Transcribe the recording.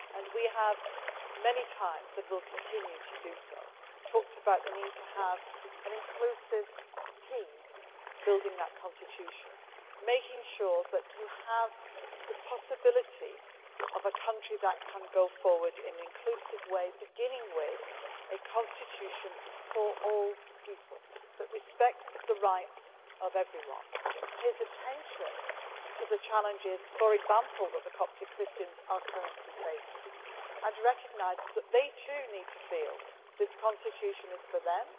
We have many times and will continue to do so talked about the need to have an inclusive team building that constitution, making sure that there is the possibility of a country that can go forward in an inclusive way, beginning with a constitution for all people that respects the rights of everyone, pays attention to the challenges which, for example, the Coptic Christians are currently facing, and recognises that they too need to feel that this constitution is for them.